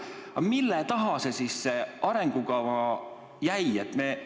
Aga mille taha see arengukava jäi?